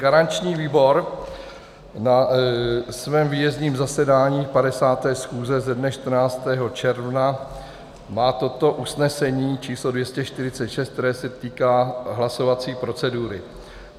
Garanční výbor na svém výjezdním zasedání 50. schůze ze dne 14. června má toto usnesení č. 246, které se týká hlasovací procedury: